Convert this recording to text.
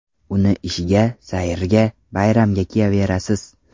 Uni ishga, sayrga, bayramga kiyaverasiz.